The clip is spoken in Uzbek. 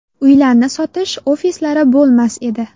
Uylarni sotish ofislari bo‘lmas edi.